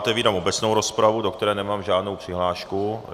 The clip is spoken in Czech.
Otevírám obecnou rozpravu, do které nemám žádnou přihlášku.